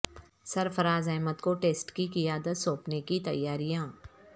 سرفراز احمد کو ٹیسٹ کی قیادت سونپنے کی تیاریاں